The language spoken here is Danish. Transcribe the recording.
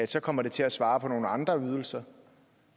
så kommer til at svare til nogle andre ydelser